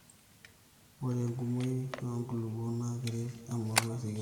ore enkumoi oo nkulupuok naa keret emauai sikitoi